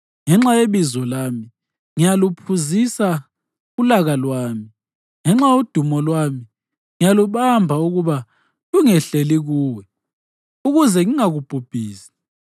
Ngenxa yebizo lami, ngiyaluphuzisa ulaka lwami; ngenxa yodumo lwami ngiyalubamba ukuba lungehleli kuwe, ukuze ngingakubhubhisi.